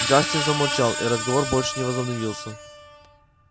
джастин замолчал и разговор больше не возобновился